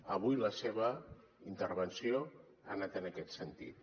avui la seva intervenció ha anat en aquest sentit